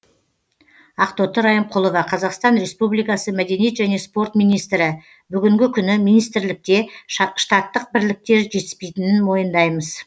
ақтоты райымқұлова қазақстан республикасы мәдениет және спорт министрі бүгінгі күні министрлікте штаттық бірліктер жетіспейтінін мойындаймыз